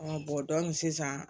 sisan